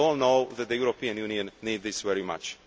We all know that the European Union needs this very much.